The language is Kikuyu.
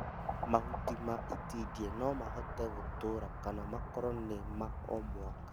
Mahuti ma itindiĩ nomahote gũtũra kana makorwo nĩma o mwaka